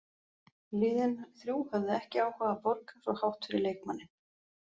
Liðin þrjú höfðu ekki áhuga að borga svo hátt fyrir leikmanninn.